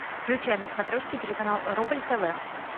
включай на смотрежке телеканал рубль тв